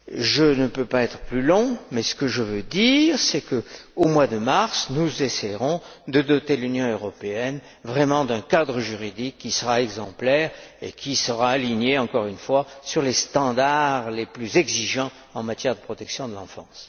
Je ne peux pas être plus long, mais je tiens à souligner qu'au mois de mars, nous essaierons de doter l'Union européenne d'un cadre juridique qui sera exemplaire et qui sera aligné, encore une fois, sur les normes les plus exigeantes en matière de protection de l'enfance.